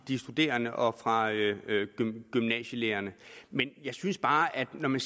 de studerende og fra gymnasielærerne men jeg synes bare at når man